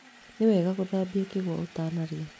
Nĩ wega gũthambia kĩgwa ũtanarĩa.